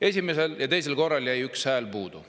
Esimesel ja teisel korral jäi üks hääl puudu.